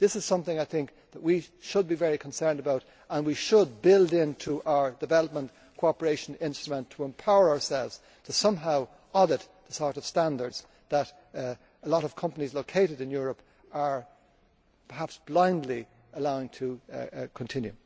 This is something that we should be very concerned about and should build into our development cooperation instrument in order to empower ourselves to somehow audit the sort of standards that a lot of companies located in Europe are perhaps blindly allowing to continue.